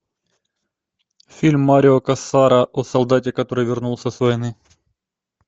фильм марио кассара о солдате который вернулся с войны